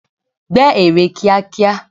Gbẹ́ ère kíákíá!